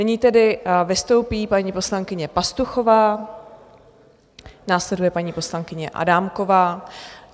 Nyní tedy vystoupí paní poslankyně Pastuchová, následuje paní poslankyně Adámková.